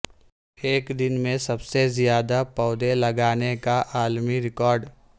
ایک دن میں سب سے زیادہ پودے لگانے کا عالمی ریکارڈ